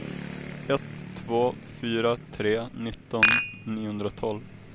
ett två fyra tre nitton niohundratolv